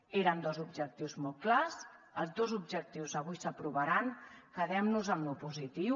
eren dos objectius molt clars els dos objectius avui s’aprovaran quedem nos amb lo positiu